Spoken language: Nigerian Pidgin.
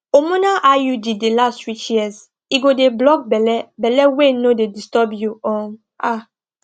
hormonal iud dey last reach years ego dey block belle belle wey no dey disturb you um um